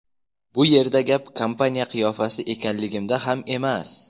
Bu yerda gap kompaniya qiyofasi ekanligimda ham emas.